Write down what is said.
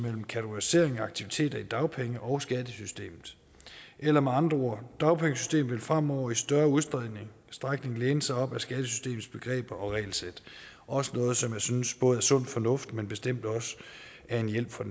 kategorisering af aktiviteter mellem dagpenge og skattesystemet eller med andre ord dagpengesystemet vil fremover i større udstrækning læne sig op ad skattesystemets begreber og regelsæt også noget som jeg synes er både sund fornuft men bestemt også en hjælp for